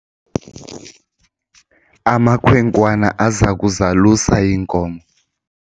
amakhwenkwana aza kuzalusa iinkomo